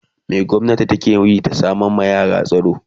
me gwamnati takeyi da sama ma yara tsaro